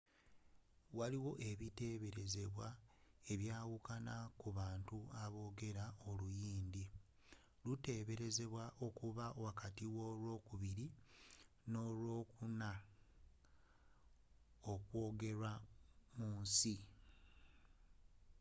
waliwo ebiteberezebwa ebyawukana ku bantu bameka aboogera oluhindi luteberezebwa okuba wakati w'olwokubiri n'olwokuna okwogerwa mu nsi